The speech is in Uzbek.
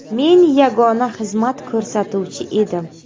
Men yagona xizmat ko‘rsatuvchi edim.